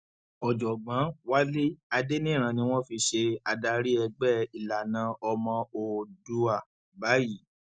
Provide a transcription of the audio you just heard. ọjọgbọn wálé adẹniran ni wọn fi ṣe adarí ẹgbẹ ìlànà ọmọ òòdúbá báyìí